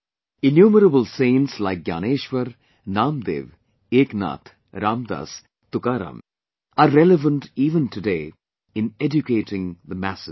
Innumerable saints like Gyaneshwar, Namdev, Eknath, Ram Dass, Tukaram are relevant even today in educating the masses